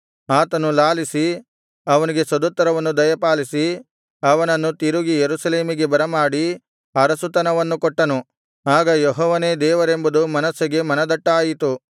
ಆತನು ಲಾಲಿಸಿ ಅವನಿಗೆ ಸದುತ್ತರವನ್ನು ದಯಪಾಲಿಸಿ ಅವನನ್ನು ತಿರುಗಿ ಯೆರೂಸಲೇಮಿಗೆ ಬರಮಾಡಿ ಅರಸುತನವನ್ನು ಕೊಟ್ಟನು ಆಗ ಯೆಹೋವನೇ ದೇವರೆಂಬುದು ಮನಸ್ಸೆಗೆ ಮನದಟ್ಟಾಯಿತು